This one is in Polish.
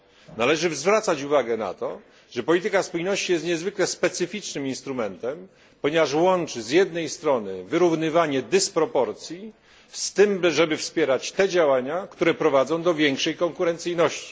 Należy zwracać uwagę na to, że polityka spójności jest niezwykle specyficznym instrumentem, ponieważ łączy z jednej strony wyrównywanie dysproporcji z tym wspieraniem działań, które prowadzą do większej konkurencyjności.